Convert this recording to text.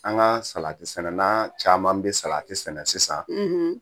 An ka salatisɛnɛna caman bɛ sati sɛnɛ sisan